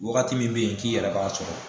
Wagati min be yen k'i yɛrɛ b'a sɔrɔ